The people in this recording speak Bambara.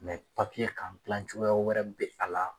kan gilan cogoya wɛrɛ bɛ a la.